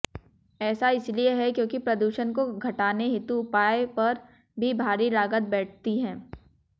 ऐसा इसलिए है क्योंकि प्रदूषण को घटाने हेतु उपायों पर भी भारी लागत बैठती है